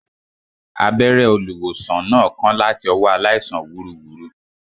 Abẹ́rẹ́ olùwòsàn náà kán láti ọwọ́ aláìsàn wúruwùru